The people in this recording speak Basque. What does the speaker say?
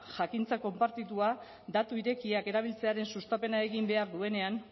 jakintza konpartitua datu irekiak erabiltzearen sustapena egin behar duenean